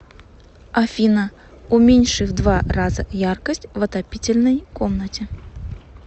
афина уменьши в два раза яркость в отопительной комнате